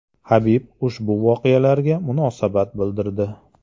Habib ushbu voqealarga munosabat bildirdi .